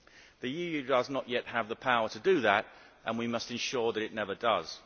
The EU does not yet have the power to do that and we must ensure that it never does.